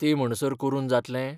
ते म्हणसर करून जातलें?